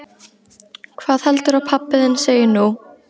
Hvað heldurðu að pabbi þinn segi nú?